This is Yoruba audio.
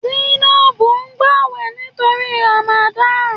Zainab n gbàwẹ̀ nítorí Ramadan